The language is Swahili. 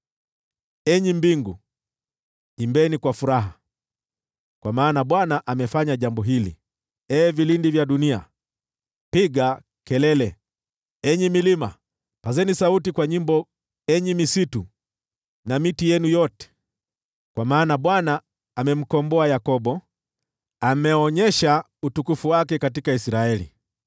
Enyi mbingu, imbeni kwa furaha, kwa maana Bwana amefanya jambo hili. Ee vilindi vya dunia, piga kelele. Enyi milima, pazeni sauti kwa nyimbo, enyi misitu na miti yenu yote, kwa maana Bwana amemkomboa Yakobo, ameuonyesha utukufu wake katika Israeli.